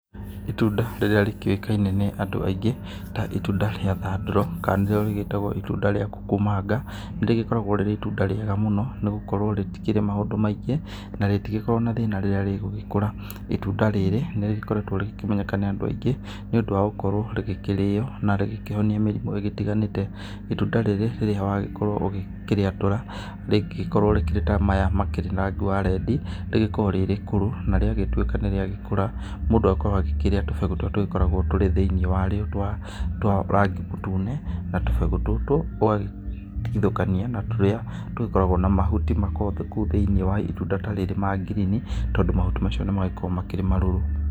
Itunda rĩrĩa rĩkĩoĩkaine nĩ andũ aingĩ ta itunda rĩa thandoro kana nĩ rĩo rĩgĩtagwo itunda rĩa kuku manga nĩ rĩgĩkoragwo rĩrĩ itunda rĩega mũno nĩ gũkorwo rĩtikĩrĩ maũndũ maingĩ na rĩtigĩkoragwo na thĩna rĩrĩa rĩgũgĩkũra itunda rĩrĩ nĩ rĩgĩkoretwo rĩkĩmenyeka nĩ andũ aingĩ nĩ ũndũ wa gũkorwo rĩkĩrĩo na rĩgĩkĩhonia mĩrimũ itiganĩte, itunda rĩrĩ rĩrĩa wagĩkorwo ũkĩrĩatũra rĩgĩkoragwo ta maya makĩrĩ rangi wa rendi rĩgĩkoragwo rĩ rĩkũrũ narĩa gĩtuĩka nĩ rĩagĩkũra mũndũ agakorwo akĩrĩa tũmbegũ tũrĩa tũgĩkoragwo tũrĩ thĩinĩ wa rĩo twa rangi mũtune na tũmbegu tutu ũgatigithokania na tũrĩa tũgĩkoragwo na mahuti makoragwo kũu thĩinĩ wa itunda ta rĩrĩ ma ngirini tondũ mahuti macio nĩ magĩkoragwo makĩrĩ marũrũ.